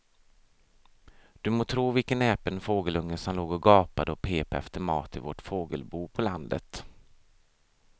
Du må tro vilken näpen fågelunge som låg och gapade och pep efter mat i vårt fågelbo på landet.